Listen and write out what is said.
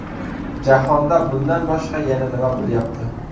Jahonda bundan boshqa yana nima bo‘lyapti?